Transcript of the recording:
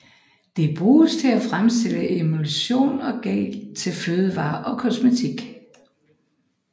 Det bruges til at fremstille emulsioner og gel til fødevarer og kosmetik